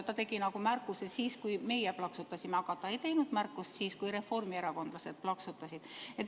Ta tegi märkuse siis, kui meie plaksutasime, aga ta ei teinud märkust siis, kui reformierakondlased plaksutasid.